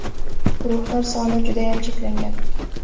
Guruhlar soni judayam cheklangan !